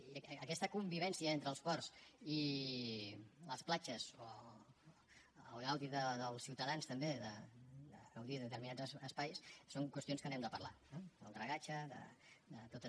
i aquesta convivència entre els ports i les platges o el gaudi dels ciutadans també de gaudir de determinats espais són qüestions que n’hem de parlar eh del dragatge de totes